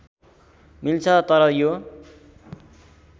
मिल्छ तर यो